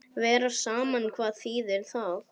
Vera saman, hvað þýðir það?